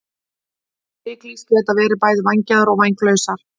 Ryklýs geta verið bæði vængjaðar og vænglausar.